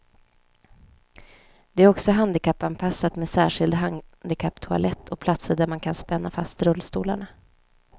Det är också handikappanpassat med särskild handikapptoalett och platser där man kan spänna fast rullstolarna.